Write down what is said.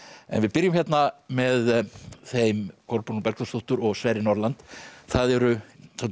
en við byrjum hérna með þeim Kolbrúnu Bergþórsdóttur og Sverri Norland það eru